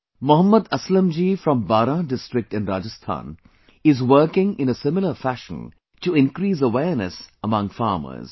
Mohammad Aslam ji from Baran district in Rajasthan is working in a similar fashion to increase awareness among farmers